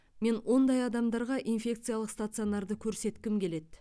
мен ондай адамдарға инфекциялық стационарды көрсеткім келеді